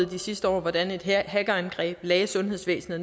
de sidste år hvordan et hackerangreb lagde sundhedsvæsenet